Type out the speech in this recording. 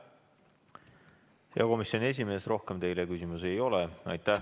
Hea komisjoni esimees, rohkem teile küsimusi ei ole.